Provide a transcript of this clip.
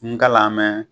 N kalan mɛn